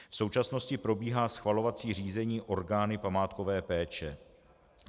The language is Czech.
V současnosti probíhá schvalovací řízení orgány památkové péče.